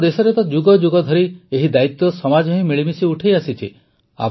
ଆମ ଦେଶରେ ତ ଯୁଗଯୁଗ ଧରି ଏହି ଦାୟିତ୍ୱ ସମାଜ ହିଁ ମିଳିମିଶି ଉଠାଇଆସିଛି